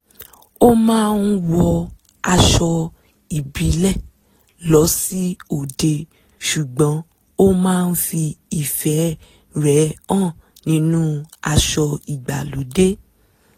ó máa ń wọ aṣọ ìbíle lọ sí òde ṣùgbọ́n ó máa ń fi ìfẹ́ rẹ̀ hàn nínú aṣọ ìgbàlódé